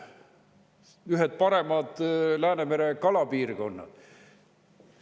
Need on ühed paremad Läänemere kalapiirkonnad.